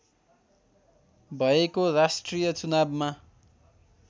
भएको राष्ट्रिय चुनावमा